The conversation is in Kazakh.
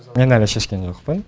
мен әлі шешкен жоқпын